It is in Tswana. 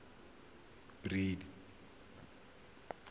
badiri